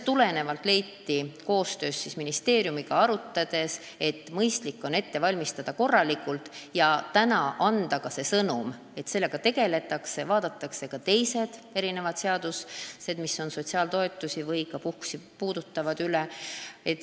Nii leiti koos ministeeriumiga arutades, et mõistlik on kõik korralikult ette valmistada, täna aga anda ka see sõnum, et sellega tegeldakse, vaadatakse üle ka teised seadused, mis sotsiaaltoetusi ja puhkusi puudutavad.